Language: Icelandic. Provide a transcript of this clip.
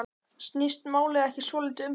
Snýst málið ekki svolítið um það?